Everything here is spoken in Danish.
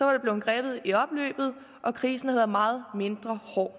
var blevet grebet i opløbet og krisen havde været meget mindre hård